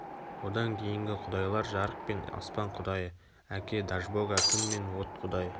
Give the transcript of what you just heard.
одан кейінгі құдайлар жарық пен аспан құдайы әке дажбога күн мен от құдайы